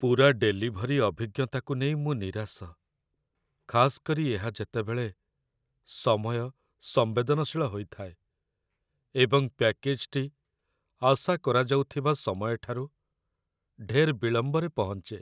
ପୂରା ଡେଲିଭରି ଅଭିଜ୍ଞତାକୁ ନେଇ ମୁଁ ନିରାଶ, ଖାସ୍ କରି ଏହା ଯେତେବେଳେ ସମୟ ସମ୍ବେଦନଶୀଳ ହୋଇଥାଏ ଏବଂ ପ୍ୟାକେଜ୍‌ଟି ଆଶା କରାଯାଉଥିବା ସମୟଠାରୁ ଢେର୍ ବିଳମ୍ବରେ ପହଞ୍ଚେ।